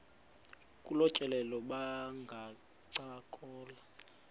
kolu tyelelo bangancokola